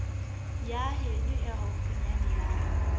ya heno e haufinyana ya